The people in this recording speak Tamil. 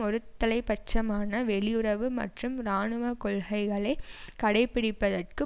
ஒருதலை பட்சமான வெளியுறவு மற்றும் இராணுவ கொள்கைகளை கடைபிடிப்பதற்கு